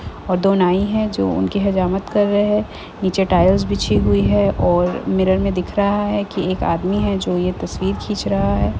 और दो नाई है जो उनकी हजामत कर रहे हैं नीचे टाइल्स बीछी हुई है और मिरर में दिख रहा है कि एक आदमी है जो ये तस्वीर खींच रहा है।